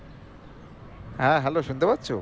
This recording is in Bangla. হ্যাঁ hello শুনতে পাচ্ছো